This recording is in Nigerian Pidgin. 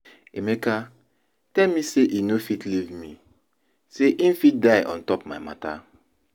Emeka tell me say e no fit leave me, say im fit die on top my matter